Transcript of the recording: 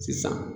Sisan